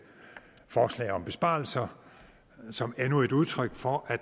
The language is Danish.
forslag om besparelser som endnu et udtryk for at